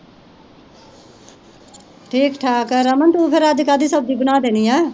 ਠੀਕ ਠਾਕ ਰਮਨ ਤੂੰ ਫੇਰ ਅੱਜ ਕਾਦੀ ਸਬਜ਼ੀ ਬਣਾ ਦੇਨੀ ਆ